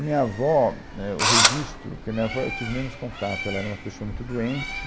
A minha avó, éh, o registro, porque a minha avó eu tive menos contato, ela era uma pessoa muito doente.